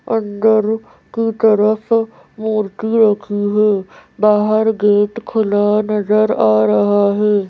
अंदर की तरफ मूर्ति रखी है बाहर गेट खुला नजर आ रहा है।